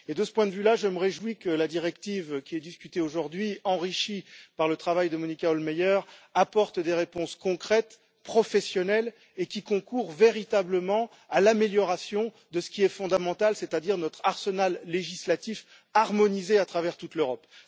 De ce point de vue, je me réjouis que la directive qui est discutée aujourd'hui, enrichie par le travail de Monika Hohlmeier, apporte des réponses concrètes, professionnelles et concourt véritablement à l'amélioration de ce qui est fondamental, c'est à dire notre arsenal législatif, harmonisé à travers toute l'Europe.